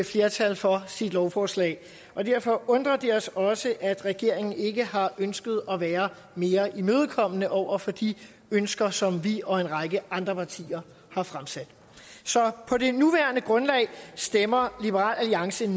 flertal for sit lovforslag derfor undrer det os også at regeringen ikke har ønsket at være mere imødekommende over for de ønsker som vi og en række andre partier har fremsat så på det nuværende grundlag stemmer liberal alliance